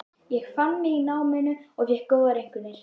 Ég fann mig í náminu og fékk góðar einkunnir.